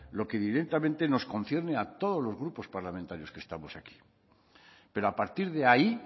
lo que directamente nos concierne a todos los grupos parlamentarios que estamos aquí pero a partir de ahí